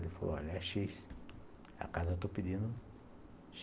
Ele falou, olha, é X. É a casa que eu estou pedindo.